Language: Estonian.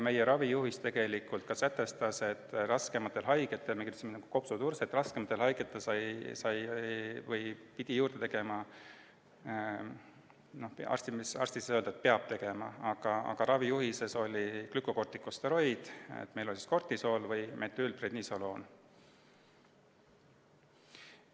Meie ravijuhis sätestas tegelikult sedagi, et raskematel haigetel, näiteks kopsuturse korral, pidi juurde võtma ka – arst ei saa tegelikult öelda, et peab tegema, aga see oli ravijuhises kirjas – glükokortikosteroidi, meil oli Cortisol või Methylprednisolone.